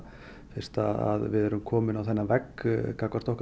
fyrst að við erum komin á þennan vegg gagnvart okkar